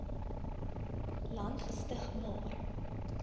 land gestig maar